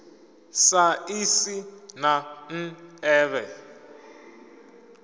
sa ḽi si na nḓevhe